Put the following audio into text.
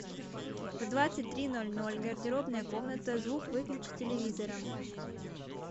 в двадцать три ноль ноль гардеробная комната звук выключи телевизора